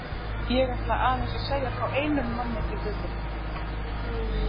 Ég ætla aðeins að segja frá einum manni til viðbótar.